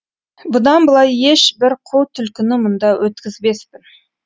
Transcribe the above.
бұдан былай ешбір қу түлкіні мұнда өткізбеспін